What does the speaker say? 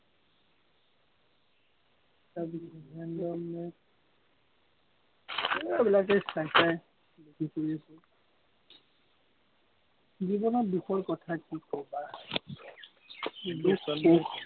তাৰ পিচত এইবিলাকেই চাই চাই, কি কৰি আছে জীৱনৰ দুখৰ কথা কি কবা, দুখ-সুখ